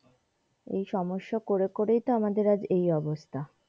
এই সমস্যা করে করেই তো আমাদের আজ এই অবস্থা।